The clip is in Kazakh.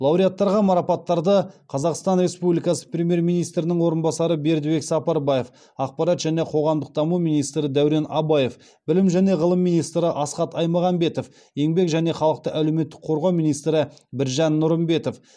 лауреаттарға марапаттарды қазақстан республикасы премьер министрінің орынбасары бердібек сапарбаев ақпарат және қоғамдық даму министрі дәурен абаев білім және ғылым министрі асхат аймағамбетов еңбек және халықты әлеуметтік қорғау министрі біржан нұрымбетов